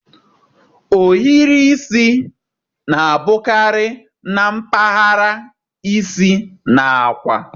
Ohiri isi na-abụkarị na mpaghara isi na akwa.